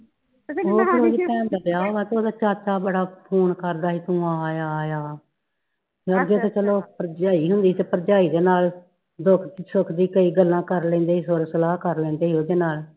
ਭੈਣ ਦਾ ਵਿਆਹ ਵਾ ਤੇ ਉਹਦਾ ਚਾਚਾ ਬੜਾ ਫੋਨ ਕਰਦਾ ਸੀ ਕਿ ਤੂੰ ਆਜਾ ਆਜਾ ਅੱਗੇ ਤੇ ਚਲੋ ਭਰਜਾਈ ਨੂੰ ਨੀ ਤਾ ਭਰਜਾਈ ਦੇ ਨਾਲ ਦੁੱਖ ਸੁੱਖ ਦੀ ਕਈ ਗੱਲਾਂ ਕਰ ਲੈਂਦੇ ਤੇ ਸਲਾਹ ਕਰ ਲੈਂਦੇ ਹੀ ਉਹਦੇ ਨਾਲ